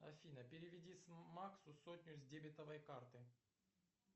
афина переведи максу сотню с дебетовой карты